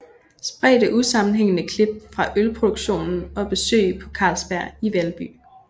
Spredte usammenhængende klip fra ølproduktionen og besøg på Carlsberg i Valby